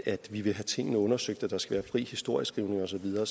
at vi vil have tingene undersøgt at der skal være fri historieskrivning og så videre